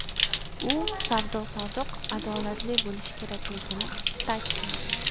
U savdo-sotiq adolatli bo‘lishi kerakligini ta’kidladi.